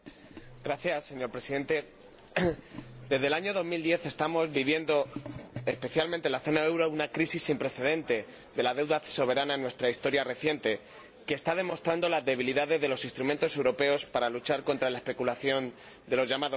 Señor Presidente, desde el año 2010 estamos viviendo, especialmente en la zona del euro, una crisis sin precedentes de la deuda soberana en nuestra historia reciente, que está demostrando las debilidades de los instrumentos europeos para luchar contra la especulación de los llamados mercados.